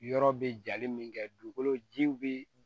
Yɔrɔ bɛ jali min kɛ dugukolo jiw bɛ